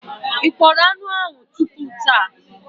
Ị kpọrọ anụ ahụ tupu taa?